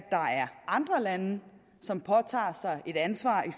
andre lande som påtager sig et ansvar